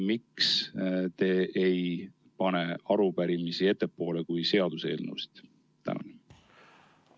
Miks te ei pane arupärimisi päevakorras seaduseelnõudest ettepoole?